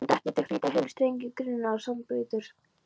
Hann þekkti til hlítar hyli, strengi, grynningar og sandbleytur.